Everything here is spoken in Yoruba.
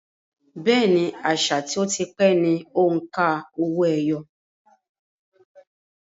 Bẹ́ẹ̀ni, àṣà tí ó ti pẹ́ ni òǹkà owó-ẹyọ